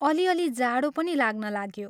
अलि अलि जाडो पनि लाग्न लाग्यो।